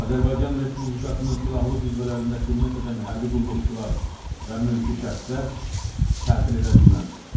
Azərbaycan Respublikasının Silahlı Qüvvələrində xidmət edən hərbi qulluqçular və mülki şəxslər tətil edə bilməzlər.